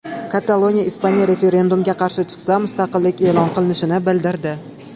Kataloniya Ispaniya referendumga qarshi chiqsa, mustaqillik e’lon qilinishini bildirdi .